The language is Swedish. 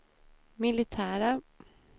militära